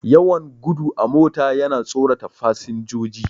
Yawan gudu a mota yana tsorata fasinjoji.